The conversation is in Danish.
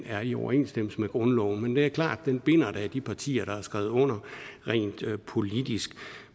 er i overensstemmelse med grundloven men det er klart at den binder da de partier der har skrevet under rent politisk